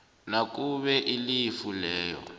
nakube ilifu leyo